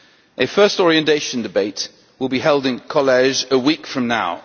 A first orientation debate will be held in College a week from now.